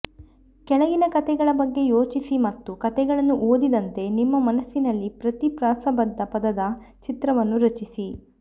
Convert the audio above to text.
ಕೆಳಗಿನ ಕಥೆಗಳ ಬಗ್ಗೆ ಯೋಚಿಸಿ ಮತ್ತು ಕಥೆಗಳನ್ನು ಓದಿದಂತೆ ನಿಮ್ಮ ಮನಸ್ಸಿನಲ್ಲಿ ಪ್ರತಿ ಪ್ರಾಸಬದ್ಧ ಪದದ ಚಿತ್ರವನ್ನು ರಚಿಸಿ